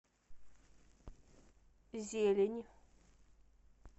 зелень